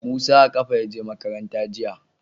Musa a ƙafa ya je makaranta jiya.